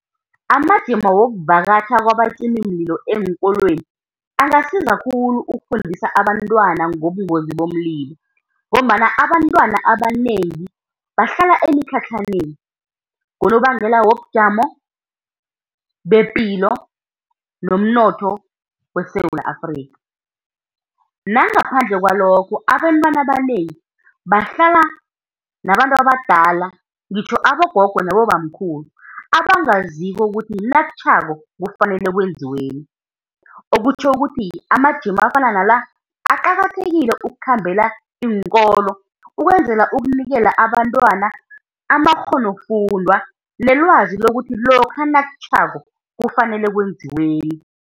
Amajima wokuvakatjha kwabacimimlilo eenkolweni angasiza khulu ukufundisa abantwana ngobungozi bomlilo, ngombana abantwana abanengi bahlala emitlhatlhaneni ngonobangela wobujamo bepilo nomnotho weSewula Afrikha. Nangaphandle kwalokho, abantwana abanengi bahlala nabantu abadala ngitjho abogogo nabobamkhulu abangaziko ukuthi nakutjhako kufanele kwenziweni. Okutjho ukuthi amajima afana nala aqakathekile ukukhambela iinkolo ukwenzela ukunikela abantwana amakghonofundwa nelwazi lokuthi lokha nakutjhako kufanele kwenziweni.